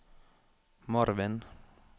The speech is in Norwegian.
Marvin